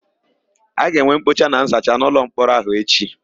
A ga-enwe mkpocha na nzacha n'ụlọmkpọrọ áhụ̀ echi.